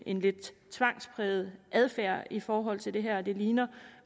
en lidt tvangspræget adfærd i forhold til det her det ligner